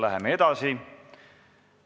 Läheme edasi.